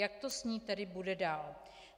Jak to s ní tedy bude dál?